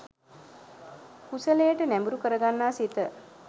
කුසලයට නැඹුරු කරගන්නා සිත